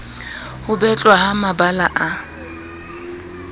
ho betlwa ha mabala a